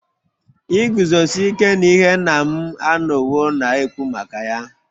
Iguzosi ike n'ihe nna m anọwo na-ekwu maka ya